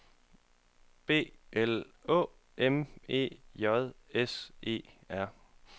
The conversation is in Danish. B L Å M E J S E R